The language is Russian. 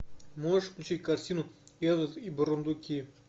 можешь включить картину элвин и бурундуки